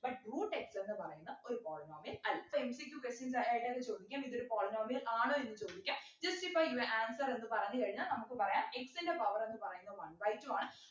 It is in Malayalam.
but root x ന്നു പറയുന്ന ഒരു polynomial അല്ല soMCQquestions ആയ് അതിനാത്ത് ചോദിക്കും ഇതൊരു polynomial ആണോ എന്ന് ചോദിക്ക just ഇപ്പൊ just answer എന്ന് പറഞ്ഞു കഴിഞ്ഞാൽ നമുക്ക് പറയാം x ൻ്റെ power എന്ന് പറയുന്നെ one by two ആണ്